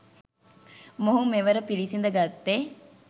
මොහු මෙවර පිළිසිඳගත්තේ